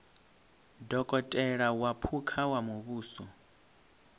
dokotela wa phukha wa muvhuso